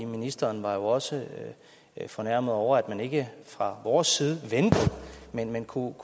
ministeren var jo også fornærmet over at man ikke fra vores side ventede men kunne